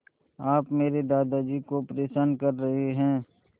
आप मेरे दादाजी को परेशान कर रहे हैं